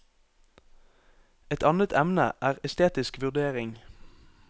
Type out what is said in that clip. Et annet emne er estetisk vurdering.